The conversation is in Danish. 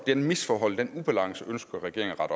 det misforhold den ubalance ønsker regeringen at